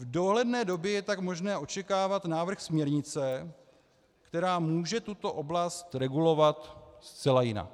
V dohledné době je tak možné očekávat návrh směrnice, která může tuto oblast regulovat zcela jinak.